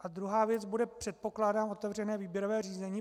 A druhá věc bude, předpokládám, otevřené výběrové řízení.